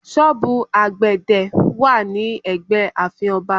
Sọ́ọ̀bù àgbẹ̀dẹ̀ wà ní ẹgbẹ́ ààfin Ọba